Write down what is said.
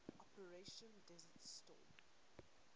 operation desert storm